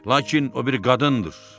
Lakin o bir qadındır.